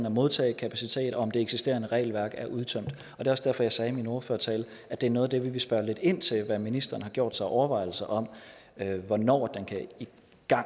og modtagekapacitet og det eksisterende regelværk er udtømt det er også derfor at jeg sagde i min ordførertale at det er noget af det som vi vil spørge lidt ind til herunder hvad ministeren har gjort sig af overvejelser om hvornår den kan